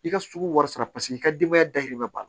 I ka sugu wari sara paseke i ka denbaya dayirimɛ b'a la